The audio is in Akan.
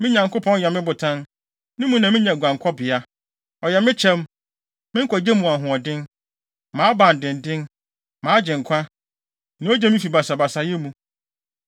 me Nyankopɔn yɛ me botan; ne mu na minya guankɔbea. Ɔyɛ me kyɛm, me nkwagye mu ahoɔden, mʼabandennen, mʼagyenkwa, nea ogye me fi basabasayɛ mu.